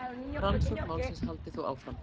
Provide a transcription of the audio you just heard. Rannsókn málsins haldi þó áfram.